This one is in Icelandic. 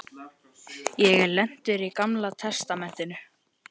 Ég er lentur í Gamla testamentinu.